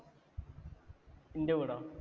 ന്‍റെ വീടോ?